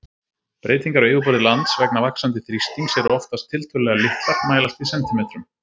Breytingar á yfirborði lands vegna vaxandi þrýstings eru oftast tiltölulega litlar, mælast í sentimetrum.